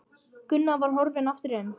Gunnar var horfinn aftur inn.